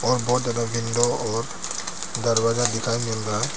और बहुत ज्यादा विंडो और दरवाजा दिखाई मिल रहा है।